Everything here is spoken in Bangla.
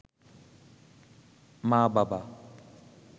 মা-বাবা